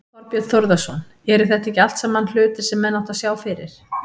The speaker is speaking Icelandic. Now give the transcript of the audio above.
Þorbjörn Þórðarson: Eru þetta ekki allt saman hlutir sem menn áttu að sjá fyrir?